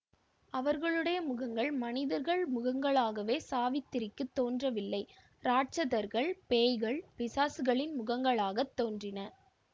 அவர்களுடைய முகங்கள் மனிதர்கள் முகங்களாகவே சாவித்திரிக்குத் தோன்றவில்லை ராட்சதர்கள் பேய்கள் பிசாசுகளின் முகங்களாகத் தோன்றின